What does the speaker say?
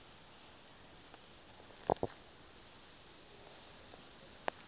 ya khe wahamba